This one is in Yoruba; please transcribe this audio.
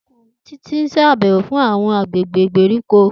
Titi n ṣabẹwo si awọn agbegbe igberiko.